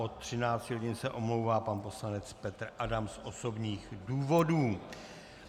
Od 13 hodin se omlouvá pan poslanec Petr Adam z osobních důvodů.